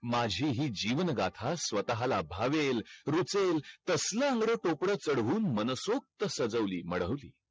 माझी ही जीवन गाथा स्वताहाला भावेल रुचेल तसल अंगड टोपड चडऊन मनसोक्त सजवली माडवली